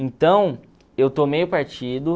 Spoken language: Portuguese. Então, eu tomei o partido.